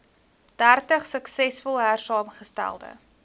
dertig suksesvol hersaamgestelde